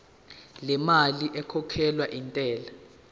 lemali ekhokhelwa intela